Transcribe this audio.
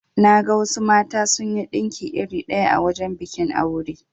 Naga wasu mata sunyi dinki iri ɗaya a wajan bikin aure.